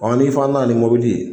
ni fana nana ni mobili ye